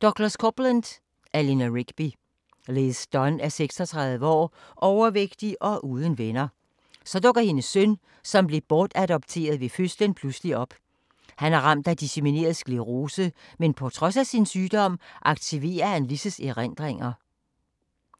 Coupland, Douglas: Eleanor Rigby Liz Dunn er 36 år, overvægtig og uden venner. Så dukker hendes søn, som blev bortadopteret ved fødslen pludselig op. Han er ramt af dissemineret sklerose, men på trods af sin sygdom aktiverer han Liz's erindringer,